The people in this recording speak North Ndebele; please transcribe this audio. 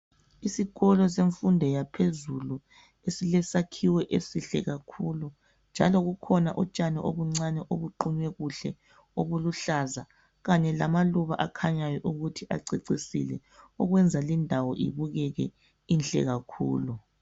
Isikolo semfundo yaphezulu esilesakhiwo esihle kakhulu njalo kukhona utshani obuncane obuqunywe kakuhle obuluhlaza kanye lamaluba akhanyayo ukuthi acecisile okwenza lindawo ibukeke inhle kakhulu.